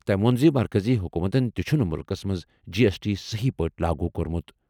تٔمۍ ووٚن زِ مرکٔزی حکوٗمتَن تہِ چھُنہٕ مُلکَس منٛز جی ایس ٹی صحیح پٲٹھۍ لاگو کوٚرمُت۔